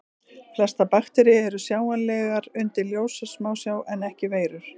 Flestar bakteríur eru sjáanlegar undir ljóssmásjá en ekki veirur.